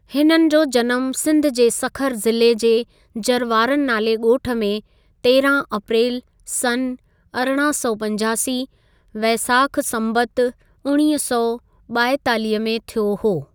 हिननि जो जनमु सिंधु जे सखर ज़िले जे जरवारनि नाले ॻोठ में तेरहं अप्रेल सन अरिड़हं सौ पंजासी (वेसाखु संबतु उणवीह सौ ॿाएतालीह) में थियो हो।